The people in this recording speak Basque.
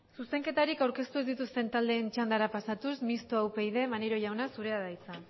zuzenketarik aurkeztu ez dituzten taldeen txandara pasatuz mistoa upyd maneiro jauna zurea da hitza